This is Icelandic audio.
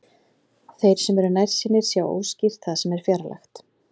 Þeir sem eru nærsýnir sjá óskýrt það sem er fjarlægt.